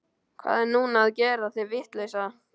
Hvað er núna að gera þig vitlausa?